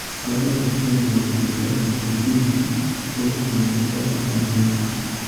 Xooluhu waxay bixiyaan cuntada borotiinka ugu fiican dad badan oo adduunka ah.